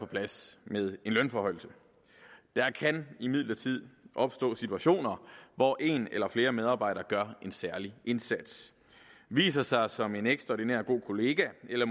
plads med en lønforhøjelse der kan imidlertid opstå situationer hvor en eller flere medarbejdere gør en særlig indsats viser sig som en ekstraordinært god kollega eller